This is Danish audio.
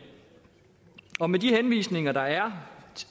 og med de henvisninger der er